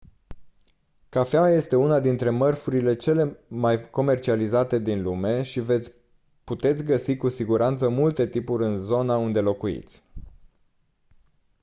cafeaua este una dintre mărfurile cele mai comercializate din lume și veți puteți găsi cu siguranță multe tipuri în zona unde locuiți